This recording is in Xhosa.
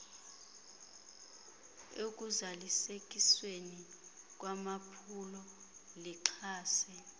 ekuzalisekisweni kwamaphulo lixhase